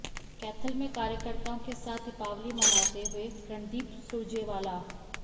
कैथल में कार्यकर्ताओं के साथ दीपावली मनाते हुए रणदीप सुरजेवाला